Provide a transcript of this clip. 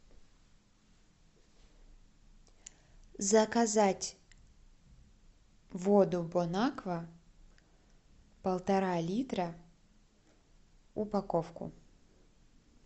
заказать воду бонаква полтора литра упаковку